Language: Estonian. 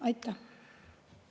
Aitäh!